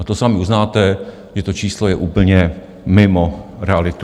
A to sami uznáte, že to číslo je úplně mimo realitu.